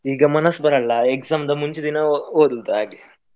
ಈಗ ಮನಸ್ಸ್ ಬರಲ್ಲ, exam ದ ಮುಂಚಿನ ದಿನ ಓ~ ಓದೋದು ಹಾಗೆ.